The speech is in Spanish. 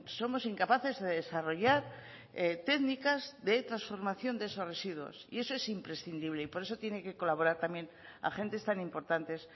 somos incapaces de desarrollar técnicas de transformación de esos residuos y eso es imprescindible y por eso tienen que colaborar también agentes tan importantes